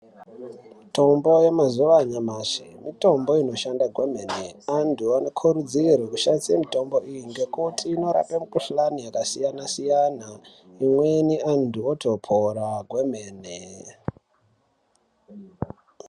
Mitombo yamazuwa ashamashi mitombo inoshanda kwemene antu anokurudzirwe kushandisa mitombo iyi ngekuti inorape mikuhlani yakasiyana siyana imweni antu otopora kwene .